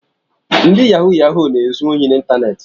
Ndị yahụ yahụ na-ezu ohi n’iteneti